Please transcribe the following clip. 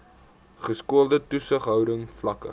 geskoolde toesighouding vlakke